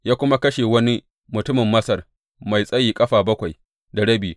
Ya kuma kashe wani mutumin Masar mai tsayi ƙafa bakwai da rabi.